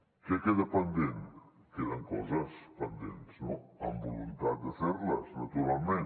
què queda pendent queden coses pendents amb voluntat de fer les naturalment